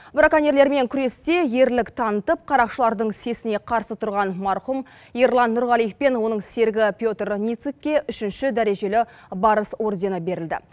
браконьерлермен күресте ерлік танытып қарақшылардың сесіне қарсы тұрған марқұм ерлан нұрғалиев пен оның серігі петр ницыкке үшінші дәрежелі барыс ордені берілді